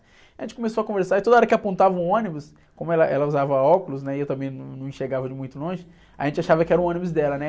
A gente começou a conversar, e toda hora que apontava o ônibus, como ela, ela usava óculos, né, e eu também num, não enxergava de muito longe, a gente achava que era o ônibus dela, né?